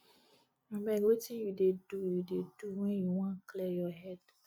abeg wetin you dey do you dey do wen you wan clear your head